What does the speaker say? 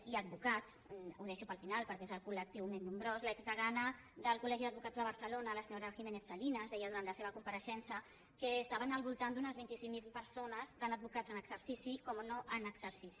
i advocats ho deixo per al final perquè és el col·lectiu més nombrós l’exdegana del col·legi d’advocats de barcelona la senyora giménez salinas deia durant la seva compareixença que estaven al voltant d’unes vint cinc mil persones tant advocats en exercici com no en exercici